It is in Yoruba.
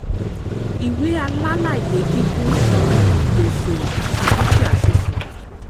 ìwé alálàyékíkún tàn gbèsè àti dúkìá síso.